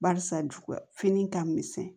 Barisa ju fini ka misɛn